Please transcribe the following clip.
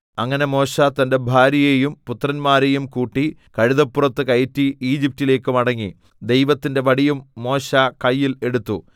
അങ്ങനെ മോശെ തന്റെ ഭാര്യയെയും പുത്രന്മാരെയും കൂട്ടി കഴുതപ്പുറത്ത് കയറ്റി ഈജിപ്റ്റിലേക്ക് മടങ്ങി ദൈവത്തിന്റെ വടിയും മോശെ കയ്യിൽ എടുത്തു